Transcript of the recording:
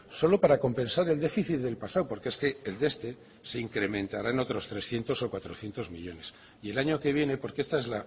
solo para compensar el déficit del pasado porque es que el de este se incrementará en otros trescientos o cuatrocientos millónes y el año que viene porque esta es